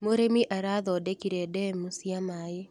Mũrĩmi arathondekire ndemu cia maĩ.